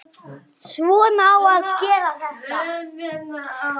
Svona á að gera þetta.